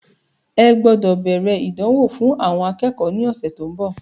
Ẹ gbọ́dọ̀ bẹ̀rẹ̀ ìdánwò fún àwọn akẹ́kọ̀ọ́ ní ọ̀sẹ̀ tí ó ń bọ̀.